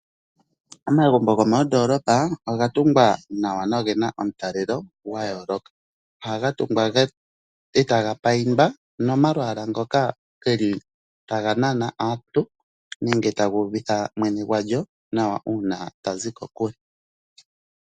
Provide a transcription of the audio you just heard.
Omagumbo gomondolopa oga tungwa nawa nogena omutalelo gwayooloka . Ohaga tungwa etaga payindwa nomalwaala ngoka geli taga nana aantu nenge taga uvitha mwene gwandjo nawa uuna tazi kokule.